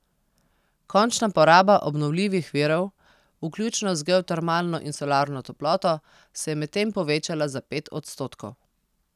Končna poraba obnovljivih virov, vključno z geotermalno in solarno toploto, se je medtem povečala za pet odstotkov.